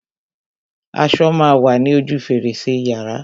Aṣo má a wa ní ojú fèrèsé yàrá.